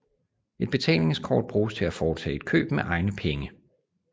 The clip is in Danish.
Et betalingskort bruges til at foretage et køb med egne penge